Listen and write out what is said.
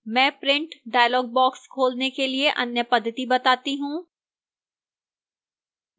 मैं print dialog box खोलने के लिए अन्य पद्धति बताती हूं